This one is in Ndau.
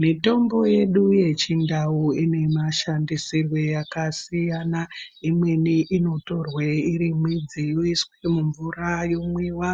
Mitombo yedu yechindau inemashandisirwe akasiyana. Imweni inotorwa iri midzi yoiswa mumvura yomwiwa,